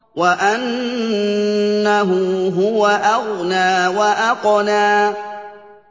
وَأَنَّهُ هُوَ أَغْنَىٰ وَأَقْنَىٰ